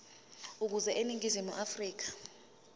ukuza eningizimu afrika